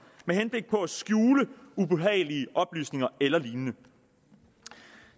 med henblik på at skjule ubehagelige oplysninger eller lignende